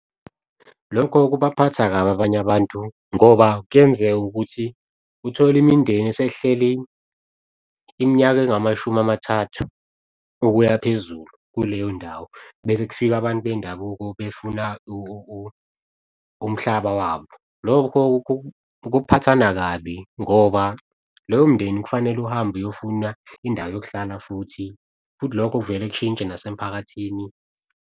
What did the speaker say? Lokho kubaphatha kabi abanye abantu ngoba kuyenzeka ukuthi uthole imindeni esehleli, iminyaka engamashumi amathathu okuya phezulu kuleyo ndawo. Bese kufika abantu bendabuko befuna umhlaba wabo. Lokho, kuphathana kabi ngoba lowo mndeni kufanele uhambe uyofuna indawo yokuhlala futhi lokho kuvele kushintshe nasemphakathini.